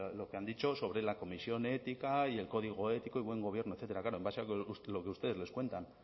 lo que han dicho sobre la comisión de ética y el código ético y buen gobierno etcétera claro en base a lo que ustedes nos cuentan